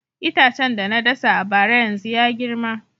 Itacen da na dasa a bara yanzu ya girma